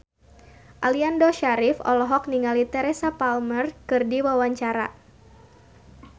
Aliando Syarif olohok ningali Teresa Palmer keur diwawancara